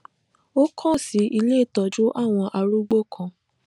ó kàn sí ilé ìtójú àwọn arúgbó kan